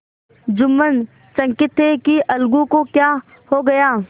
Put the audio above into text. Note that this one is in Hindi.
जुम्मन चकित थे कि अलगू को क्या हो गया